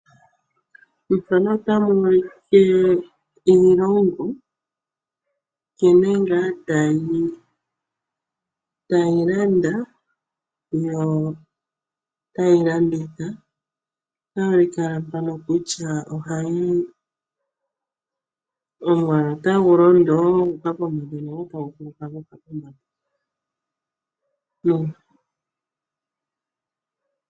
Ethano ota mu u like iilongo, nkene ngaa tayi ningi tayi landa yo ota yi landitha. Otayi u like ala mpano kutya ohayi omwaalu otagu londoo gu u ka pombanda nenge otagu kuluka gu u ka pombanda.